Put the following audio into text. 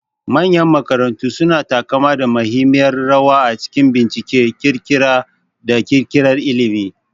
Manyan makarantu suna taka muhimmiyar rawa a cikin bincike, ƙirƙira, da ƙirƙirar ilimi.